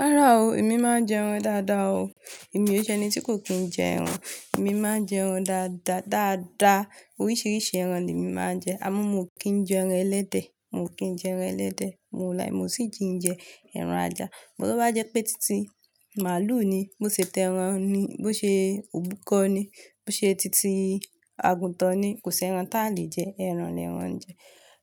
Rárá o, èmi máa ń jẹ ẹran dáadáa o. Èmi óò se ẹni tí kò kí ń jẹ ẹran. Èmi máa ń jẹ ẹran dáadáa, dáadáa. Oríṣiríṣi ẹran ni èmi máa ń jẹ. Àmọ́ mo kì í jẹ ẹran ẹlẹ́dẹ̀, mo kì í jẹ ẹran ẹlẹ́dẹ̀, mo láì, mo sì kí ń jẹ ẹran ajá. Gbọ to bá jẹ pé títí màlúù ni, bó ṣe tẹ ẹran ni, bó ṣe òbúkọ ni, bó ṣe títí àgùntàn ni, kò sí ẹran táà le jẹ, ẹran ni ẹran jẹ́.